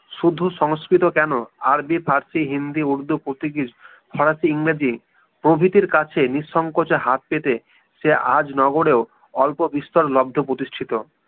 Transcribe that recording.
শুধু সংস্কৃত কেন আরবী ফারসী হিন্দি উর্দু পর্তুগীজ ফরাসী ইংরেজী প্রবৃতির কাছে নিঃসংকোচে হাত পেতে সে আজ নগরেও অল্প বিস্তর লব্ধ প্রতিষ্ঠিত